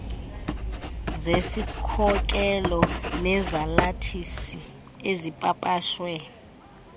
zesikhokelo nezalathisi ezipapashwe